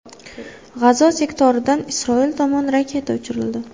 G‘azo sektoridan Isroil tomon raketa uchirildi.